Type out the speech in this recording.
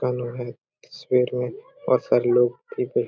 Colour है सफेद में बहुत सारे लोग भी है ।